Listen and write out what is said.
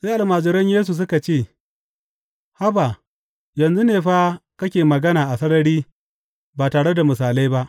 Sai almajiran Yesu suka ce, Haba, yanzu ne fa kake magana a sarari ba tare da misalai ba.